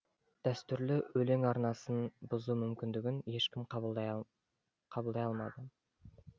дәстүрлі өлең арнасын бұзу мүмкіндігін ешкім қабылдай алмады